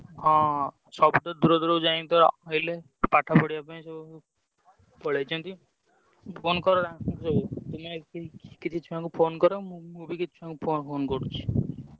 ହଁ ସବୁତ ଦୂର ଦୂରକୁ ଯାଇକି ତ ରହିଲେ ପାଠ ପଢିଆ ପାଇଁ ସବୁ ପଳେଇଛନ୍ତି। phone କର ତାଙ୍କୁ ସବୁ ତୁମେ କିଛି ଛୁଆଙ୍କୁ phone କର ମୁଁ ମୁଁ ବି କିଛି ଛୁଆଙ୍କୁ phone କରୁଚି।